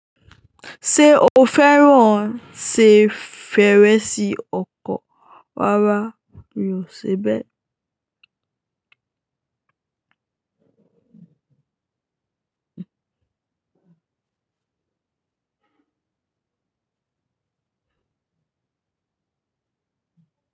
Ṣé o fẹ́ràn se fèrèsé ọkọ̀? Rara. Mi ò ṣe bẹ́ẹ̀.